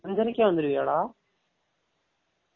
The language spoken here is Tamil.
அன்சரைக்கே வந்துருவியா டா ?